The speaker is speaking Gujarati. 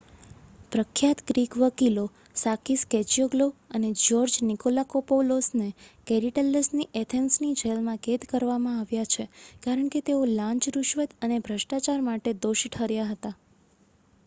પ્રખ્યાત ગ્રીક વકીલો સાકીસ કેચિયોગ્લોઉ અને જ્યોર્જ નિકોલાકોપૌલોસને કોરીડેલ્લસની એથેન્સની જેલમાં કેદ કરવામાં આવ્યા છે, કારણ કે તેઓ લાંચ: રુશવત અને ભ્રષ્ટાચાર માટે દોષી ઠર્યા હતા